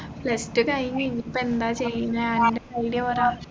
plus two കഴിഞ്ഞ് ഇനി ഇപ്പോ എന്താ ചെയ്യുന്നേ നിൻെറ idea പറാ